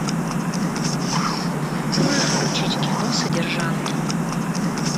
можешь включить кино содержанки